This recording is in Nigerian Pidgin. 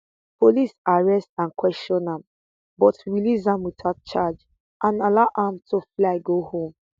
police arrest and question am but release am witout charge and allow am to fly go home